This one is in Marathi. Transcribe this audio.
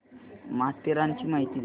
माथेरानची माहिती दे